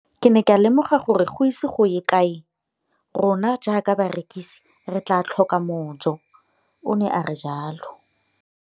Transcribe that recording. Ke ne ka lemoga gore go ise go ye kae rona jaaka barekise re tla tlhoka mojo, o ne a re jalo.